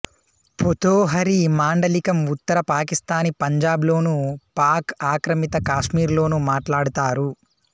పొథోహరీ మాండలికం ఉత్తర పాకిస్థానీ పంజబ్ లోనూ పాక్ ఆక్రమిత కాశ్మీర్ లోనూ మాట్లాడతారు